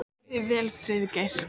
Þú stendur þig vel, Friðgeir!